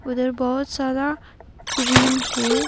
उधर बहोत सारा क्रीम है।